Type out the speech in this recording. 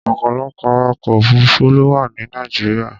Ọ̀pọ̀lọpọ̀ awakọ̀ òfuruufú ló wà ní Nàìjíríà.